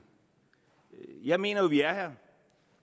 jeg mener jo at vi er her